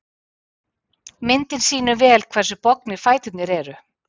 Myndin sýnir vel hversu bognir fæturnir eru.